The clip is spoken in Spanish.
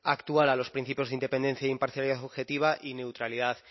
actual a los principios de independencia e imparcialidad objetiva y neutralidad